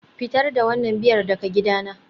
Fitar da wannan Biyar daga gidana